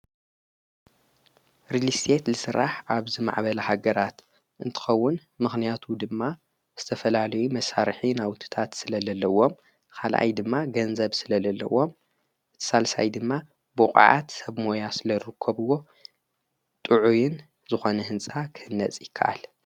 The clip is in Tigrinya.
ርሊስት ልሥራሕ ኣብዝማዕበላ ሃገራት እንትኸውን ምኽንያቱ ድማ ዝተፈላልይ መሣርኂ ንኣውትታት ስለለለዎም ፣ኻልኣይ ድማ ገንዘብ ስለለለዎም ፣እትሣልሳይ ድማ ብቕዓት ሰብ ሞያ ርሊስተትኮብዎ ጥዑይን ዝኾነ ሕንጻ ኽህነጽ ይከኣል።